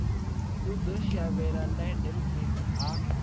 o ḓo shavhela lydenburg ha